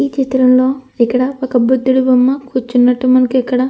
ఇక్కడ ఏ చిత్రంలో మనఇక్కడ ఒక బుద్దుడి బొమ్మ కూర్చున్నట్టుగా కనిపిస్తుంది.